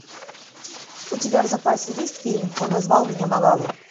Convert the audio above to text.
у тебя в запасе есть фильм он назвал меня малала